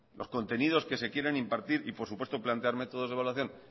los contenidos que se quieren impartir y por supuesto plantearme todos de evaluación